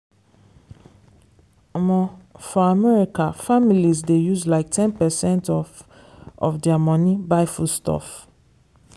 for america families dey use like ten percent of of their money buy foodstuff.